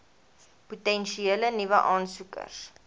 potensiële nuwe aansoekers